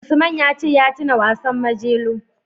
Usman ya ce ya tuna wasan Majelo.